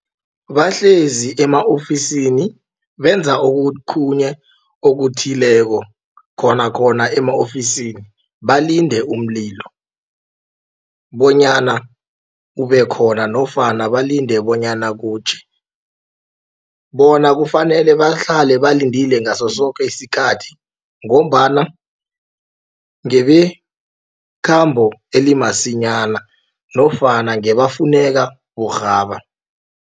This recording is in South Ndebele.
Bahlezi ema-ofisini benza okuthileko khonakhona ema-ofisini balinde umlilo bonyana ubekhona nofana balinde bonyana kutjhe. Bona kufanele bahlale balindile ngaso soke isikhathi ngombana ngebekhambo elimasinyana nofana ngabafuneka burhaba.